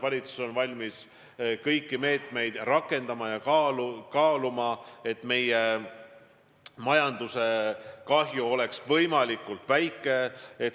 Valitsus on valmis kõiki meetmeid rakendama ja kaaluma, et meie majanduse kahju oleks võimalikult väike.